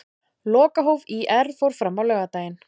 Lokahóf ÍR fór fram á laugardaginn.